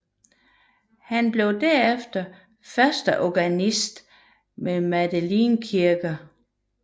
Han blev derefter førsteorganist ved Madeleinekirken